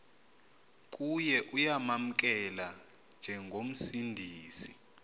kuye uyamamkela njengomsindisi